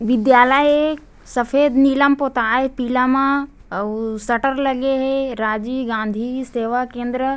विद्यालय ए सफ़ेद नीला म पोता हे पीला मा अउ शटर लगे हे राजीव गाँधी सेवा केंद्र--